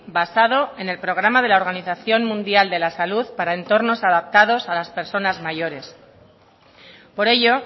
basado en el programa de la organización mundial de la salud para entornos adaptados a las personas mayores por ello